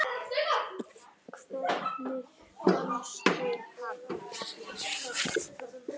Hvernig fannstu hann?